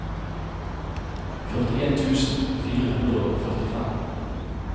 førtien tusen fire hundre og førtifem